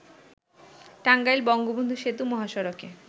টাঙ্গাইল-বঙ্গবন্ধু সেতু মহাসড়কে